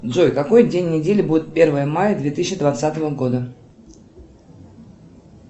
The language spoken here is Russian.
джой какой день недели будет первое мая две тысячи двадцатого года